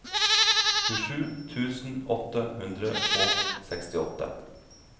tjuesju tusen åtte hundre og sekstiåtte